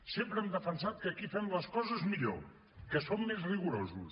sempre hem defensat que aquí fem les coses millor que som més rigorosos